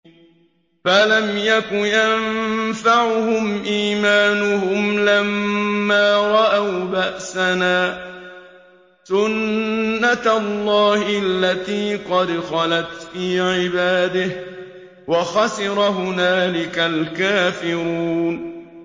فَلَمْ يَكُ يَنفَعُهُمْ إِيمَانُهُمْ لَمَّا رَأَوْا بَأْسَنَا ۖ سُنَّتَ اللَّهِ الَّتِي قَدْ خَلَتْ فِي عِبَادِهِ ۖ وَخَسِرَ هُنَالِكَ الْكَافِرُونَ